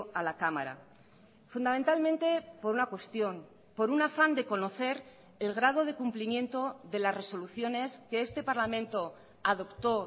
a la cámara fundamentalmente por una cuestión por un afán de conocer el grado de cumplimiento de las resoluciones que este parlamento adoptó